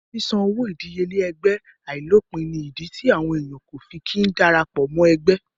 Ṣíṣan owó ìdíyelé ẹgbẹ́ àìlópìn ní ìdí tí àwọn èèyàn kò fi kí n dára pọ̀ mọ́ ẹgbẹ́